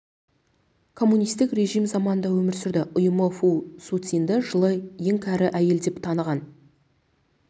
коммунистік режим заманында өмір сүрді ұйымы фу суцинді жылы ең кәрі әйел деп таныған